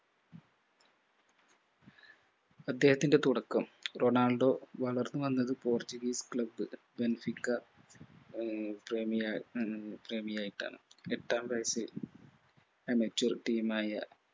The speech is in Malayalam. അദ്ദേഹത്തിന്റെ തുടക്കം റൊണാൾഡോ വളർന്നു വന്നത് portuguese club ബേൻസിക്ക ആഹ് പ്രേമിയാ ആഹ് പ്രേമിയായിട്ടാണ് എട്ടാം വയസിൽ amateur team മായ